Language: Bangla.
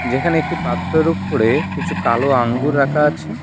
যেখানে একটি পাত্রের উপরে কিছু কালো আঙ্গুর রাখা আছে।